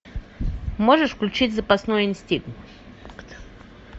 можешь включить запасной инстинкт